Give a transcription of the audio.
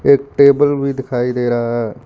एक टेबल भी दिखाई दे रहा है।